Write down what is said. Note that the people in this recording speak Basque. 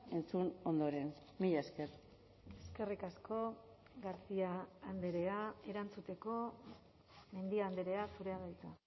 entzun ondoren mila esker eskerrik asko garcia andrea erantzuteko mendia andrea zurea da hitza